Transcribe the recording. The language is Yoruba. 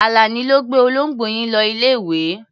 Àlàní ló gbé olóńgbò yín lọ ilé-ìwé.